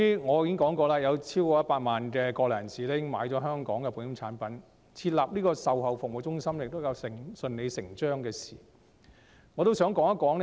我已經指出，由於有超過100萬國內人士已經購買香港的保險產品，設立售後服務中心是順理成章的事。